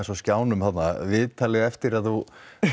á skjánum viðtalið eftir að þú